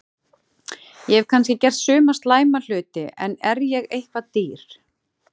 Ég hef kannski gert suma slæma hluti en er ég eitthvað dýr?